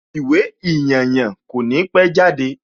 Ìwé ìyànyàn kò ní pẹ́ jáde